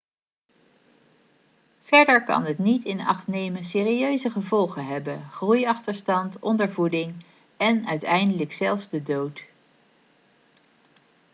verder kan het niet in acht nemen serieuze gevolgen hebben groeiachterstand ondervoeding en uiteindelijk zelfs de dood